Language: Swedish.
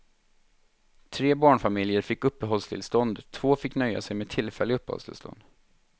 Tre barnfamiljer fick uppehållstillstånd, två fick nöja sig med tillfälliga uppehållstillstånd.